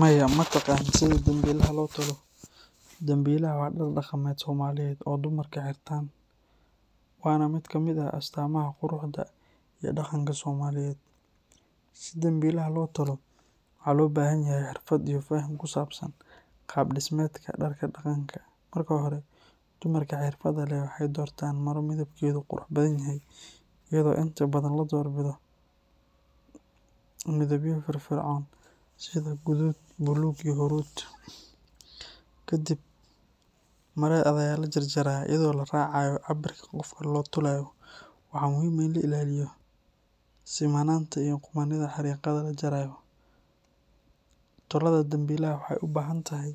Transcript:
Maya, ma taqaan sida dambilaha loo tolo? Dambilaha waa dhar dhaqameed Soomaaliyeed oo dumarku xirtaan, waana mid ka mid ah astaamaha quruxda iyo dhaqanka Soomaaliyeed. Si dambilaha loo tolo, waxaa loo baahan yahay xirfad iyo faham ku saabsan qaab-dhismeedka dharka dhaqanka. Marka hore, dumarka xirfadda leh waxay doortaan maro midabkeedu qurux badan yahay, iyadoo inta badan la doorbido midabyo firfircoon sida guduud, buluug, iyo huruud. Kadibna marada ayaa la jarjarayaa iyadoo la raacayo cabbirka qofka loo tolayo. Waxa muhiim ah in la ilaaliyo simanaanta iyo qummanida xariiqaha la jarayo. Tolaadda dambilaha waxa ay u baahan tahay